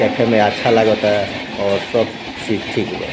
देखे में अच्छा लागो ता और सब चीज ठीक बा।